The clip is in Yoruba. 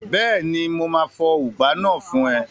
Bẹ́ẹ̀ni, mo máa fọ ùgbá náà fún ẹ